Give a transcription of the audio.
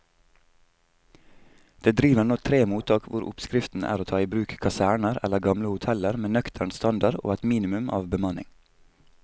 Det driver nå tre mottak hvor oppskriften er å ta i bruk kaserner eller gamle hoteller med nøktern standard og et minimum av bemanning.